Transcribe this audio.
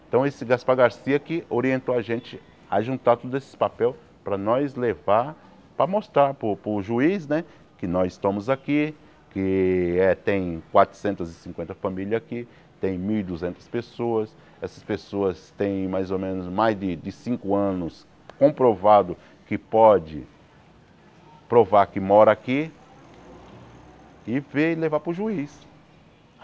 Então esse Gaspar Garcia que orientou a gente a juntar todos esses papéis para nós levar para mostrar para o para o juiz né que nós estamos aqui, que eh tem quatrocentas famílias aqui, tem mil e duzentas pessoas, essas pessoas tem mais ou menos mais de de cinco anos comprovado que pode provar que mora aqui e veio levar para o juiz.